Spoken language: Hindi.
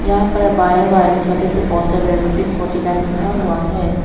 यहां पर बांये वाले छोटे से पोस्टर में रूपीस फोर्टी नाइन लिखा हुआ है।